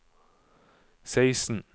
seksten